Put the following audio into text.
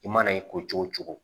I mana i ko cogo cogo